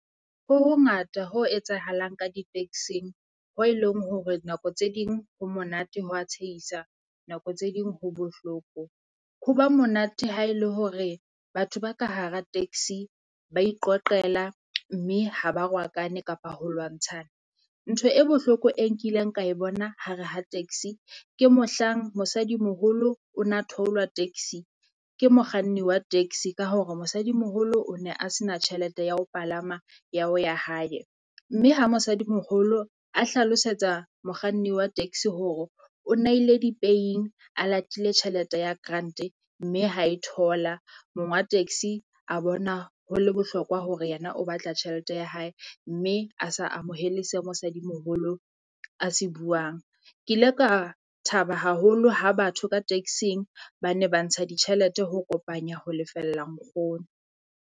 Ho ho ngata ho etsahalang ka di-taxi-ng ho e leng hore nako tse ding ho monate ho wa tshehisa nako tse ding ho bohloko. Ho ba monate ha el e hore batho ba ka hara taxi ba iqoqela mme ha ba rwakane kapa ho lwantshana. Ntho e bohloko e nkileng ka e bona hare ha taxi ke mohlang mosadi moholo o na theolwa taxi ke mokganni wa taxi ka hore mosadi moholo o ne a se na tjhelete ya ho palama ya ho ya hae. Mme ha mosadi moholo a hlalosetsa mokganni wa taxi hore o naile di-paying a latile tjhelete ya grant-e, mme ha e thola mong wa taxi a bona ho le bohlokwa hore yena o batla tjhelete ya hae, mme a sa amohele se mosadi moholo a se buang. Ke ile ka thaba haholo ha batho ka taxing ba ne ba ntsha ditjhelete ho kopanya ho lefella nkgono.